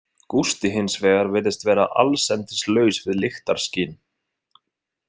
Gústi, hins vegar, virðist vera allsendis laus við lyktarskyn.